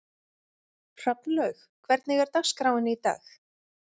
Hrafnlaug, hvernig er dagskráin í dag?